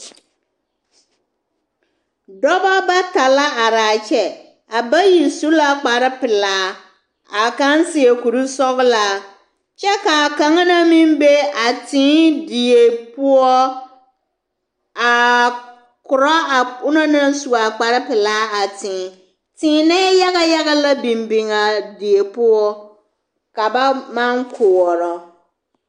Dɔba bata la are a kyɛ a bayi su la kpare pelaa a kaŋ seɛ kurisɔglaa kyɛ ka a kaŋa na meŋ be a tee die poɔ a korɔ a o naŋ su a kparepelaa a tee teenɛɛ yaga yaga la biŋ biŋ a die poɔ ka ba maŋ koɔrɔ.